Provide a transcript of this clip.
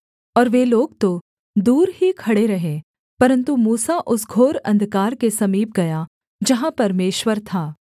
और वे लोग तो दूर ही खड़े रहे परन्तु मूसा उस घोर अंधकार के समीप गया जहाँ परमेश्वर था